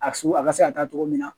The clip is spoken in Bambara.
A su a ka se ka taa togo min na